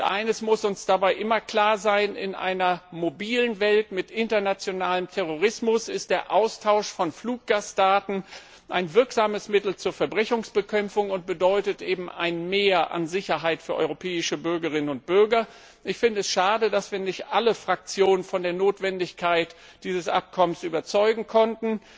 Eines muss uns dabei immer klar sein In einer mobilen Welt mit internationalem Terrorismus ist der Austausch von Fluggastdaten ein wirksames Mittel zur Verbrechensbekämpfung und bedeutet eben ein Mehr an Sicherheit für europäische Bürgerinnen und Bürger. Ich finde es schade, dass wir nicht alle Fraktionen von der Notwendigkeit dieses Abkommens überzeugen konnten.